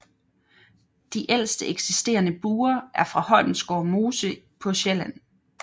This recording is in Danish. De ældste eksisterende buer er fra Holmegårds Mose på Sjælland